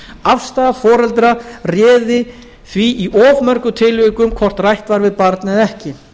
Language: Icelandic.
afstaða foreldra réði því í of mörgum tilvikum hvort rætt væri við barn eða ekki